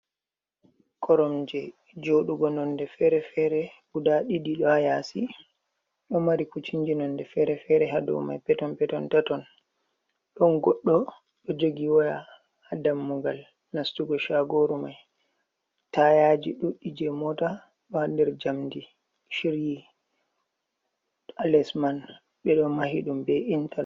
Koromje joɗugo nonde fere-fere guda ɗiɗi ɗo ha yasi ɗo mari kucinji nonde fere-fere hadow mai peton peton tatton ɗon goɗɗo ɗo jogi waya ha dammugal nastugo shagoru mai, tayaji ɗuɗɗi je mota ɗo ha nder jamdi shiryi ha les man ɓeɗo mahi ɗum be inta.